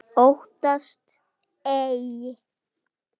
Óttast ei.